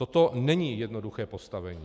Toto není jednoduché postavení.